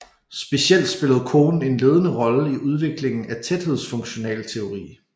Specielt spillede Kohn en ledende rolle i udviklingen af tæthedsfunktionalteori